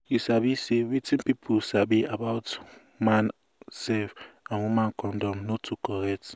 you sabi say wetin pipu sabi about man sef and woman condom no too correct